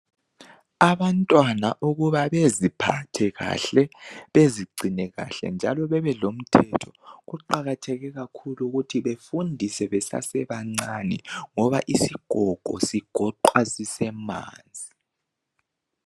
Abantwana ukuba beziphathe kahle bezigcine kahle njalo bebe lomthetho kuqakatheke kakhulu ukuthi befundiswe besesebancane ngoba isigogo sigoqwa sisemanzi.